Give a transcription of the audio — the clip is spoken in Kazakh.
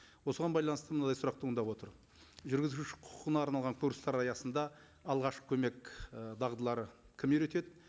осыған байланысты мындай сұрақ туындап отыр жүргізуші құқына арналған курстар аясында алғашқы көмек і дағдыларын кім үйретеді